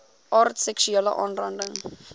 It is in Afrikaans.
aard seksuele aanranding